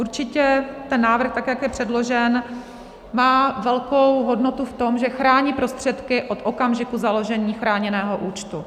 Určitě ten návrh, tak jak je předložen, má velkou hodnotu v tom, že chrání prostředky od okamžiku založení chráněného účtu.